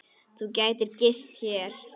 Þú gætir gist hér.